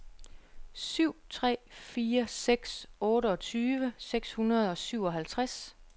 syv tre fire seks otteogtyve seks hundrede og syvoghalvtreds